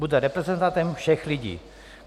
Bude reprezentantem všech lidí."